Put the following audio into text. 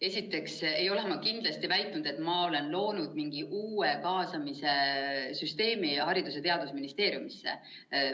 Esiteks ei ole ma kindlasti väitnud, et ma olen loonud Haridus‑ ja Teadusministeeriumisse mingi uue kaasamise süsteemi.